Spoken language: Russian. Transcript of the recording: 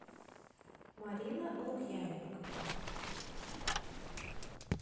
марина лукьяненко